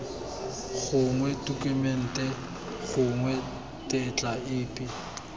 gongwe tokumente gongwe tetla epe